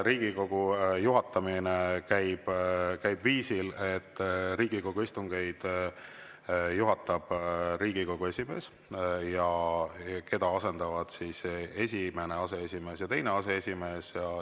Riigikogu juhatamine käib viisil, et Riigikogu istungeid juhatab Riigikogu esimees, keda asendavad esimene aseesimees ja teine aseesimees.